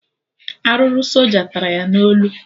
Arụrụ soja tara ya na olu